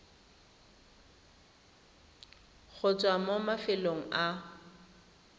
go tswa mo mafelong a